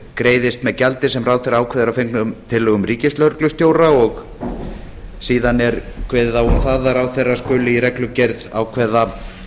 greiðist með gjaldi sem ráðherra ákveður að fengnum tillögum ríkislögreglustjóra og síðan er kveðið á um hvaða ráðherra skuli í reglugerð ákveða